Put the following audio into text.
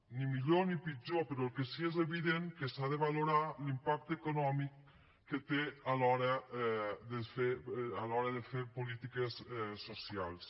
ni millor ni pitjor però el que sí que és evident és que s’ha de valorar l’impacte econòmic que té a l’hora de fer polítiques socials